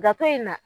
Dato in na